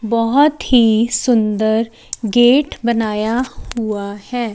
बहुत ही सुंदर गेट बनाया हुआ है।